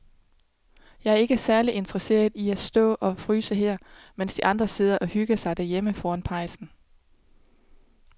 Jeg er ikke særlig interesseret i at stå og fryse her, mens de andre sidder og hygger sig derhjemme foran pejsen.